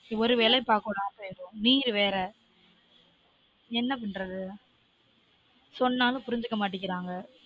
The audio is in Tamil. ஒரு வேலயும் பார்க்க உடாம பெய்யுரும் வேற என்ன பண்றது சொன்னாலும் புரிஞ்சுக்க மாட்டிக்கிறாங்க